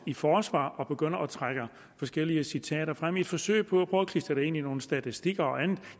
i forsvar og begynder at trække forskellige citater frem i et forsøg på at filtre det ind i nogle statistikker og andet